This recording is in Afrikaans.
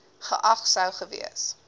geag sou gewees